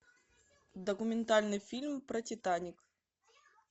документальный фильм про титаник